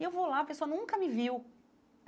E eu vou lá, a pessoa nunca me viu.